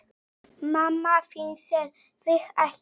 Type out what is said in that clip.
Mamma þín sér þig ekki neitt.